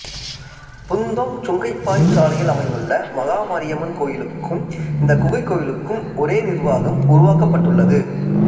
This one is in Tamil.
புந்தோங் சுங்கைப்பாரி சாலையில் அமைந்துள்ள மகா மாரியம்மன் கோயிலுக்கும் இந்தக் குகைக் கோயிலுக்கும் ஒரே நிர்வாகம் உருவாக்கப் பட்டுள்ளது